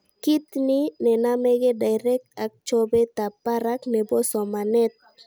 Kit ni nenameke diret ak chobetab barak nebosomanet